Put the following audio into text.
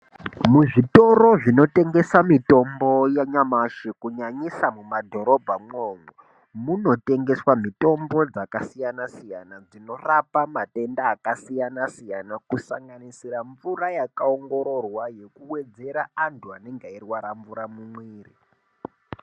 Muzvitoro zvinotengesa mitombo yanyamashi kunyanyisa mumadhorobhamwomwo, munotengeswa mitombo dzaakasiyana-siyana,, dzinorapa matenda akasiyana-siyana kusanganisira mvura yakaongororwa kuwedzera antu anenga eirwara mumwiiri.